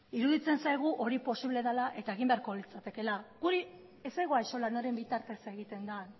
iruditzen zaigu hori posible dela eta egin beharko litzatekeela guri ez zaigu axola noren bitartez egiten den